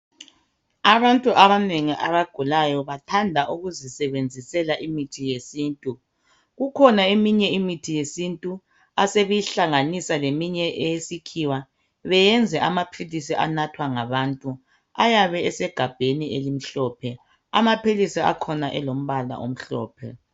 Abantu abanengi abagulayo bathanda ukuzisebenzisela imithi yesintu. Kukhona eminye imithi yesintu asebeyihlanganisa leminye eyesikhiwa beyenze amaphilisi anathwa ngabantu ayabe esegabheni elimhlophe. Amaphilisi akhona elombala omhlophe